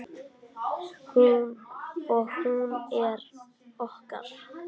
Og hún er okkar.